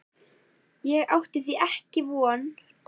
Á því átti ég ekki von.